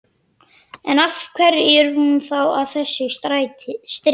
En, af hverju er hún þá að þessu streði?